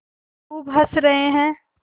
खूब हँस रहे हैं